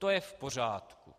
To je v pořádku.